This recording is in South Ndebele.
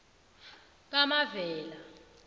kamavela